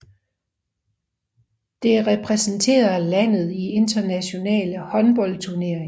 Det repræsenterer landet i internationale håndboldturneringer